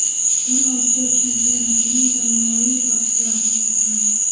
Bugun Osiyo chempionatining jamoaviy bahslari o‘tkaziladi.